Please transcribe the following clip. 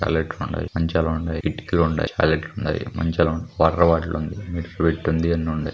Hyundai మంచాలు ఉన్నాయి. కిటికీలు ఉన్నాయి. హుండాయ్ మనుషులు ఉన్నాయి .వాటర్ బాటిల్ ఉంది. అన్ని హుండాయ్.